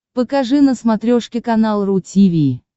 покажи на смотрешке канал ру ти ви